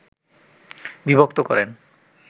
বিভক্ত করেন